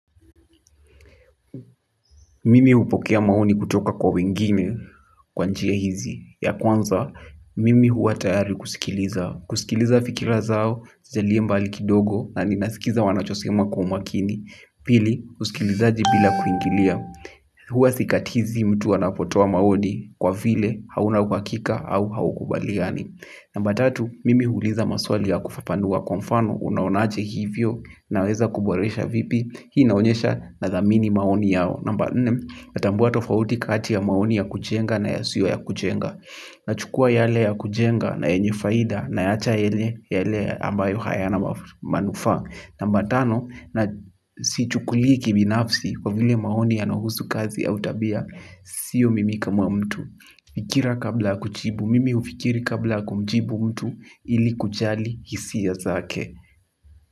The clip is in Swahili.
Mimi hupokea maoni kutoka kwa wengine kwa njia hizi. Ya kwanza, mimi huwa tayari kusikiliza. Kusikiliza fikira zao zilio mbali kidogo na ninasikiza wanachosema kwa umakini. Pili, usikilizaji bila kuingilia. Huwa sikatizi mtu anapotoa maoni kwa vile hauna uhakika au haukubaliani. Namba tatu, mimi huuliza maswali ya kufafanua kwa mfano unaonaje hivyo naweza kuboresha vipi hii inaonyesha nathamini maoni yao namba nne natambua tofauti kati ya maoni ya kujenga na yasiyo ya kujenga. Nachukua yale ya kujenga na yenye faida nayaacha yale ambayo hayana manufaa namba tano sichukulii kibinafsi kwa vile maoni yanuhusu kazi au tabia, siyo mimi kama mtu. Fikira kabla kujibu, mimi hufikiri kabla kumjibu mtu ili kujali hisia zake.